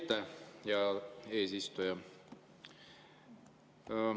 Aitäh, hea eesistuja!